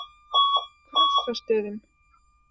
Krossastöðum